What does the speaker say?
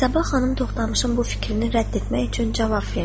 Sabah xanım Toxtamışın bu fikrini rədd etmək üçün cavab verdi.